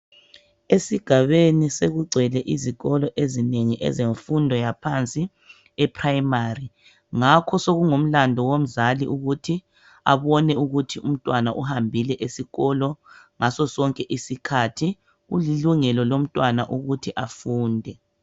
Esigabeni sekugcwele izikolo ezinengi ezefundo yaphansi eprimari ngakho sekungumlandu womzali ukuthi abone ukuthi umntwana uhambile esikolo ngasosonke isikhathi. Kulilungelo lomntwana ukuthi afunde.